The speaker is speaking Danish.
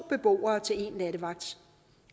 beboere til en nattevagt